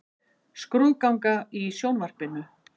Skrúðganga í sjónvarpinu.